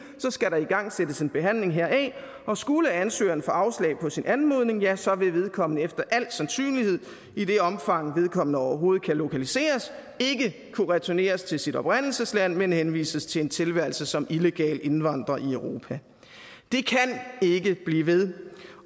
skal der igangsættes en behandling heraf og skulle ansøgeren få afslag på sin anmodning ja så vil vedkommende efter al sandsynlighed i det omfang vedkommende overhovedet kan lokaliseres ikke kunne returneres til sit oprindelsesland men henvises til en tilværelse som illegal indvandrer i europa det kan ikke blive ved